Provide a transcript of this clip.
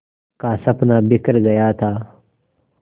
का सपना बिखर गया था